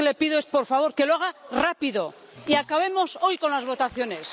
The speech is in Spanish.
Yo lo que le pido es, por favor, que lo haga rápido y acabemos hoy con las votaciones.